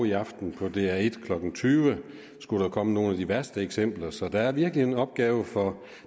i aften på dr en klokken tyve skulle der komme nogle af de værste eksempler så der er virkelig en opgave for